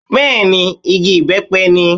Bẹ́ẹ̀ni Igi ìbẹ́pẹ ni